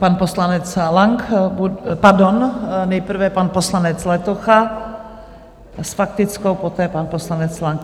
Pan poslanec Lang - pardon, nejprve pan poslanec Letocha s faktickou, poté pan poslanec Lang.